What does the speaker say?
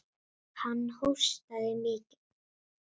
Hann hóstaði mikið.